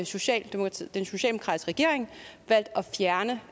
socialdemokratiske regering valgt at fjerne